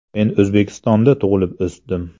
“Men O‘zbekistonda tug‘ilib o‘sdim.